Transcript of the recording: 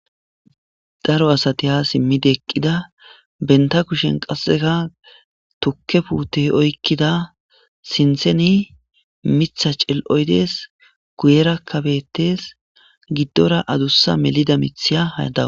Daro asati ha simmide eqqida benta kushen qasseka tukke puute oykkida sintheni mitha cel7oydees guyera kabettes giddora adussa melida mithiya hayada.